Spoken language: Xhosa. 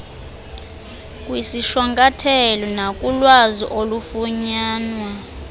kwisishwankathelo nakulwazi olufunyanwa